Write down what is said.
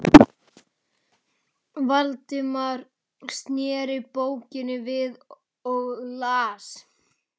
Valdimar sneri bókinni við og las